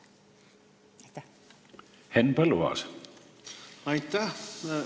Aitäh!